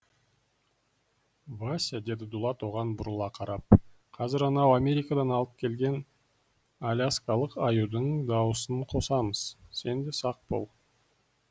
вася деді дулат оған бұрыла қарап қазір анау америкадан алып келген аляскалық аюдың дауысын қосамыз сен де сақ бол